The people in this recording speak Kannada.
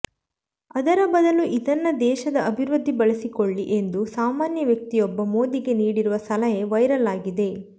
ಅದರ ಬದಲು ಇದನ್ನ ದೇಶದ ಅಭಿವೃದ್ಧಿ ಬಳಸಿಕೊಳ್ಳಿ ಎಂದು ಸಾಮಾನ್ಯ ವ್ಯಕ್ತಿಯೊಬ್ಬ ಮೋದಿಗೆ ನೀಡಿರುವ ಸಲಹೆ ವೈರಲ್ ಆಗಿದೆ